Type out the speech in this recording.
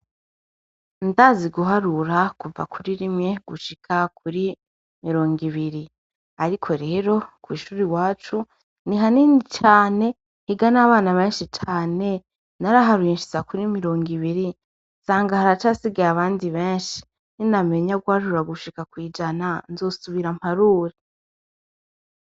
Ndazi guharura kuva kuri rimwe gushika kuri mirongibiri , ariko rero, kw'ishuri iwacu ni hanini cane, higa n'abana benshi cane , naraharuye nshitsa kuri mirongibiri nsanga haracasigaye abandi benshi. Ninamenya guharura gushika kw'ijana, nzosubira mparure.